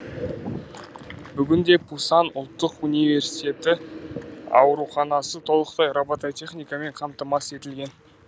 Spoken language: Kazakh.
бүгінде пусан ұлттық университеті ауруханасы толықтай робототехникамен қамтамасыз етілген